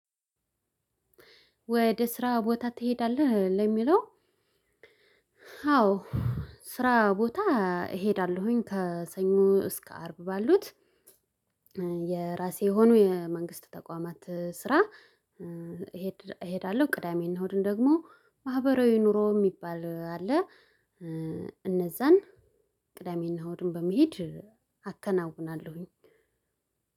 ወደ ስራ ቦታ ትሄዳለህ ለሚለው? አዎ። ስራ ቦታ እሄዳለሁኝ ከሰኞ እስከ አርብ ባሉት። የራሴ የሆኑ የመንግስት ተቋማት ስራ። እሄዳለሁ ቅዳሜና አሁድን ደግሞ ማህበራዊ ኑሮ የሚባል አለ። እነዛን ቅዳሜና አሁድን በመሄድ አከናውናለሁኝ።